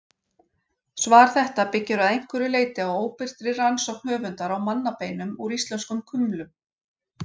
Svar þetta byggir að einhverju leyti á óbirtri rannsókn höfundar á mannabeinum úr íslenskum kumlum.